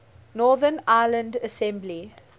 northern ireland assembly